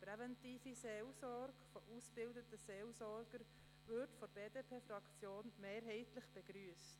Eine präventive Seelsorge von ausgebildeten Seelsorgern würde von der BDP-Fraktion mehrheitlich begrüsst.